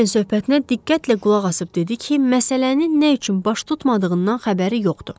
Ramberin söhbətinə diqqətlə qulaqasıb dedi ki, məsələnin nə üçün baş tutmadığından xəbəri yoxdur.